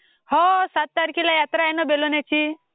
हो सात तारखेला यात्रा आहे ना बेलवलीची..